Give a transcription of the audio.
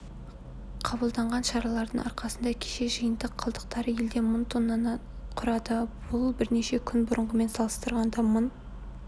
қабылданған шаралардың арқасында кеше жиынтық қалдықтары елде мың тоннаны құрады бұл бірнеше күн бұрынғымен салыстырғанда мың